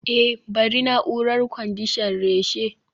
eh bari na'urar kwandishan reshe